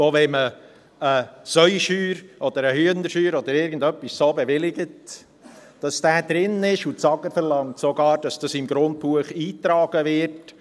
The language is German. Wenn man eine Schweine- oder Hühnerscheuer oder etwas Ähnliches bewilligt, muss dies drin sein, und das AGR verlangt sogar, dass dies im Grundbuch eingetragen wird.